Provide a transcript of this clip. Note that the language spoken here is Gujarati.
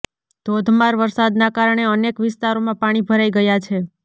ધોધમાર વરસાદના કારણે અનેક વિસ્તારોમાં પાણી ભરાઇ ગયા છે